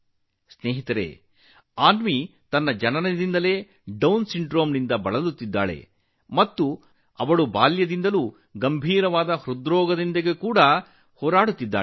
ಸ್ನೇಹಿತರೇ ಅನ್ವಿ ಹುಟ್ಟಿನಿಂದಲೇ ಡೌನ್ ಸಿಂಡ್ರೋಮ್ನಿಂದ ಬಳಲುತ್ತಿದ್ದಾಳೆ ಮತ್ತು ಅವಳು ಬಾಲ್ಯದಿಂದಲೂ ಗಂಭೀರ ಹೃದಯ ಕಾಯಿಲೆಯೊಂದಿಗೆ ಹೋರಾಡುತ್ತಿದ್ದಾಳೆ